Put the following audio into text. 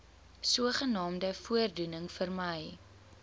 sogenaamde voordoening vermy